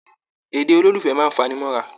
Èdè ololufẹ máa n fanimọra.